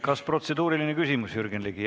Kas protseduuriline küsimus, Jürgen Ligi?